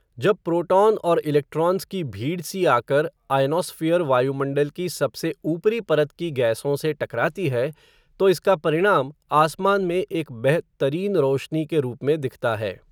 जब प्रोटॉन और इलेक्ट्रॉन्स की भीड़ सी आकर, आयनॉस्फ़ीयर वायुमण्डल की सबसे ऊपरी परत की गैसों से टकराती है, तो इसका परिणाम, आसमान में एक बेह तरीन रोशनी के रूप में दिखता है